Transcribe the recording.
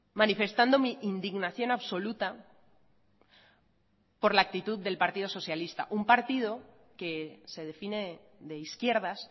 manifestando mi indignación absoluta por la actitud del partido socialista un partido que se define de izquierdas